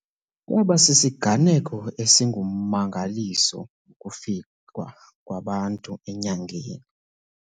Kwaba sisiganeko esingummangaliso ukufikwa kwabantu enyangeni.